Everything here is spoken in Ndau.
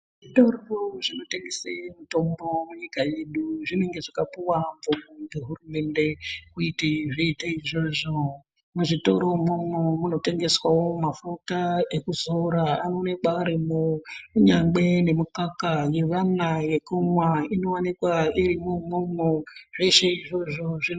Zvitoro zvinotengese mitombo munyika yedu zvinenge zvakapuwa mvumo ngehurumende kuti zviite izvozvo. Muzvitoro imwomwo munotengeswawo mafuta ekuzora anoonekwa arimwo kunyangwe nemikaka yevana yekumwa inoonekwa irimwo umwomwo. Zveshe izvozvo zvino.